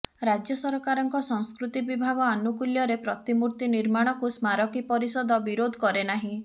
ରାଜ୍ୟ ସରକାରଙ୍କ ସଂସ୍କୃତି ବିଭାଗ ଆନୁକୂଲ୍ୟରେ ପ୍ରତିମୂର୍ତ୍ତି ନିର୍ମାଣକୁ ସ୍ମାରକୀ ପରିଷଦ ବିରୋଧ କରେନାହିଁ